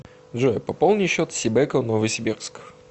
джой пополни счет сибэко новосибирск